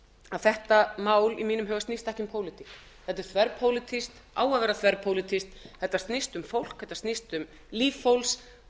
að þetta mál í mínum huga snýst ekki um pólitík heldur þverpólitískt á að vera þverpólitískt þetta snýst um fólk þetta snýst um líf fólks og